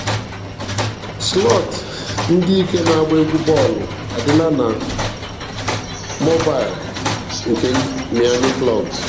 Slọọt ndị ike na-agba egwu bọọlụ adịla na mobaịl nke Miami Club.